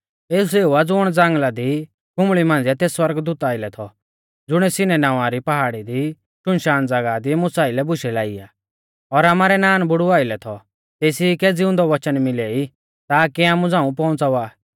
एऊ सेऊ आ ज़ुण ज़ांगल़ा दी खुंबल़ी मांझ़िऐ तेस सौरगदूता आइलै थौ ज़ुणिऐ सिन्नै नावां री पहाड़ी री शुनशान ज़ागाह दी मुसा आइलै बुशै लाई आ और आमारै नानबुड़ु आइलै थौ तेसी कै ज़िउंदै वचन मिलै ई ताकी आमु झ़ांऊ पौउंच़ावा